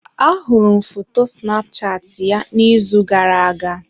Ahụrụ m foto Snapchat ya n'izu gara-aga.